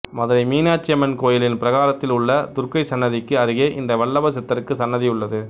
மதுரை மீனாட்சியம்மன் கோயிலின் பிரகாரத்தில் உள்ள துர்க்கை சன்னிதிக்கு அருகே இந்த வல்லப சித்தருக்கு சன்னதியுள்ளது